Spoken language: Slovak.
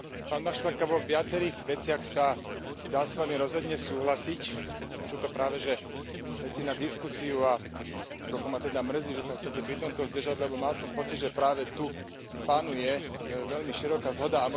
Pán Maštálka, vo viacerých veciach sa dá s vami rozhodne súhlasiť. Sú to práveže veci na diskusiu a trochu ma teda mrzí, že sa chcete pri tomto zdržať, lebo mal som pocit, že práve tu panuje veľmi široká zhoda.